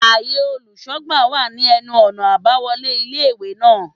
Áye olùsógbà wà ní enu ònà àbáwolé ilé ìwé náà